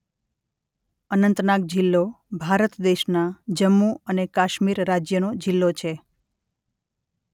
અનંતનાગ જિલ્લો ભારત દેશના જમ્મુ અને કાશ્મીર રાજ્યનો જિલ્લો છે.